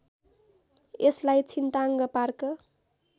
यसलाई छिन्ताङ्ग पार्क